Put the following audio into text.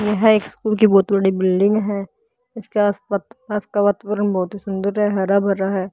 यह एक स्कूल की बहुत बड़ी बिल्डिंग है इसके आसपास का वातावरण बहुत ही सुंदर है हरा भरा है।